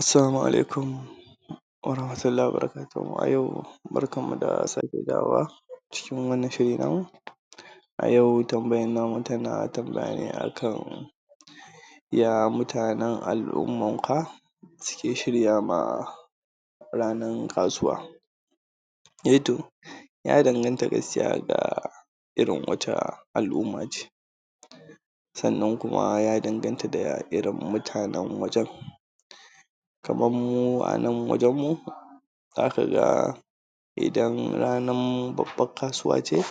Assalamu alaikum, warahamatullahi wa barakatuhu, a yau barkan mu da sake dawowa a cikin wanna shiri na mu, a yau tambayan namu tana tambaya ne a kan, ya mutanen al'umman ku suke shirya ma ranar kasuwa? Eh to ya dangata gaskiya da irin wace al'umma ce sannan kuma ya danganta da irin mutanen wajen kaman mu anan wajen mu zaka ga idan ranan babbar kasuwa ce